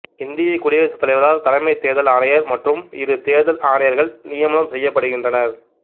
இந்தியக் குடியரசுத் தலைவரால் தலைமைத் தேர்தல் ஆணையர் மற்றும் இரு தேர்தல் ஆணையர்கள் நியமனம் செய்யப்படுகின்றனர்